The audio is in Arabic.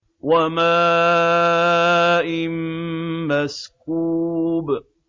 وَمَاءٍ مَّسْكُوبٍ